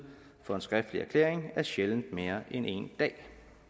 for en skriftlig erklæring er sjældent mere end en dag